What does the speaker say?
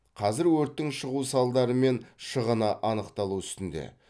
қазір өрттің шығу салдары мен шығыны анықталу үстінде